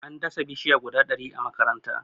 an dasa bishiya guda ɗari a makaranta